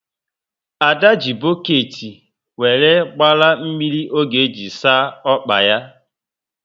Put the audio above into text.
Ada ji boketi wéré gbara mmiri ọ ga eji saa ọkpa yá